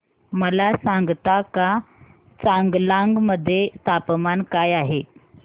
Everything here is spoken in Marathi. मला सांगता का चांगलांग मध्ये तापमान काय आहे